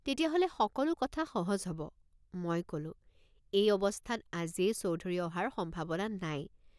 তেতিয়াহ'লে সকলো কথা সহজ হ'ব। মই কলোঁ এই অৱস্থাত আজিয়েই চৌধুৰী অহাৰ সম্ভাৱনা নাই।